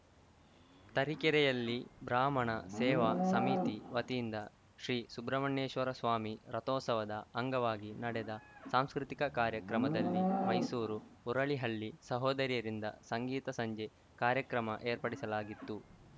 ತರೀಕೆರೆಯಲ್ಲಿ ಬ್ರಾಹ್ಮಣ ಸೇವಾ ಸಮಿತಿ ವತಿಯಿಂದ ಶ್ರೀ ಸುಬ್ರಹ್ಮಣ್ಯೇಶ್ವರಸ್ವಾಮಿ ರಥೋತ್ಸವದ ಅಂಗವಾಗಿ ನಡೆದ ಸಾಂಸ್ಕೃತಿಕ ಕಾರ್ಯಕ್ರಮದಲ್ಲಿ ಮೈಸೂರು ಹುರಳೀಹಳ್ಳಿ ಸಹೋದರಿಯರಿಂದ ಸಂಗೀತ ಸಂಜೆ ಕಾರ್ಯಕ್ರಮ ಏರ್ಪಡಿಸಲಾಗಿತ್ತು